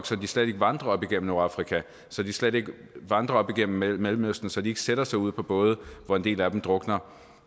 så de slet ikke vandrer op igennem nordafrika så de slet ikke vandrer op igennem mellemøsten så de slet ikke sætter sig ud på både hvor en del af dem drukner